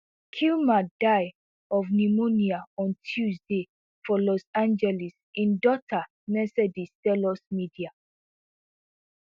kilmer die of pneumonia on tuesday for los angeles im daughter mercedes tell us media